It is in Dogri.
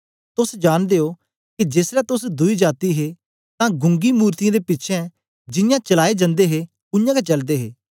तोस जांनदे ओ के जेसलै तोस दुई जाती हे तां गूंगी मूरतयें दे पिछें जियां चलाए जंदे हे उयांगै चलदे हे